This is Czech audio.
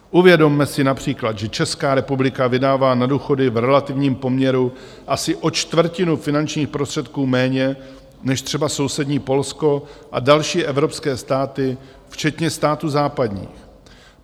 Uvědomme si například, že Česká republika vydává na důchody v relativním poměru asi o čtvrtinu finančních prostředků méně než třeba sousední Polsko a další evropské státy, včetně států západních.